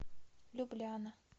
любляна